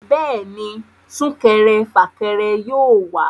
Bẹ́ẹ̀ni, súnkẹrẹ fàkẹrẹ yóò wà